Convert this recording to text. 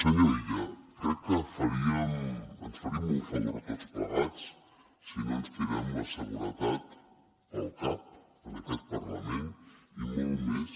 senyor illa crec que ens faríem un favor tots plegats si no ens tirem la seguretat pel cap en aquest parlament i molt més